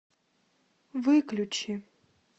выключи